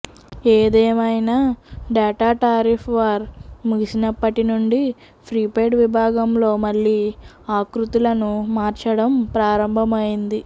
ఏదేమైనా data tariff war ముగిసినప్పటి నుండి ప్రీపెయిడ్ విభాగంలో మళ్లీ ఆకృతులను మార్చడం ప్రారంభమైంది